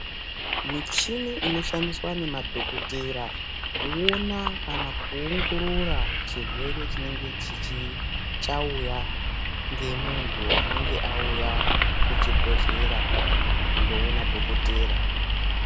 Michini inoshandiswa nemadhokoteya kuona kana kuongorora chirwere chinenge chauya ngemuntu, anenge auya kuchibhedhlera kundoona dhokotera.